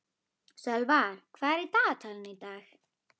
Sölvar, hvað er í dagatalinu í dag?